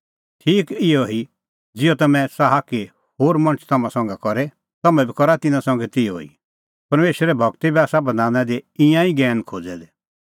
ठीक इहअ ई ज़िहअ तम्हैं च़ाहा कि होर मणछ तम्हां संघै करे तम्हैं बी करा तिन्नां संघै तिहअ ई परमेशरे गूरै बी आसा बधाना दी ईंयां ई ज्ञैन खोज़ै दै